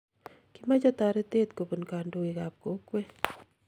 kimoche toretet kobunu kandoikab kokwe